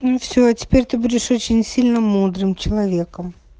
ну все теперь ты будешь очень сильно мудрым человеком